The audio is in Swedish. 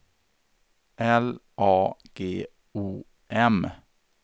L A G O M